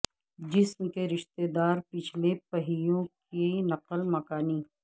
جسم کے رشتہ دار پچھلے پہیوں کی نقل مکانی